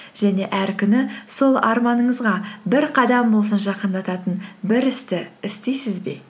және әр күні сол арманыңызға бір қадам болсын жақындататын бір істі істейсіз бе